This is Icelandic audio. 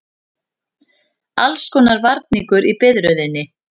Allskonar varningur í biðröðinni.